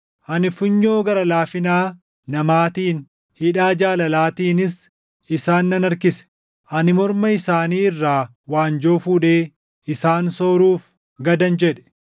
Ani funyoo gara laafina namaatiin, hidhaa jaalalaatiinis isaan nan harkise; ani morma isaanii irraa waanjoo fuudhee isaan sooruuf gadan jedhe.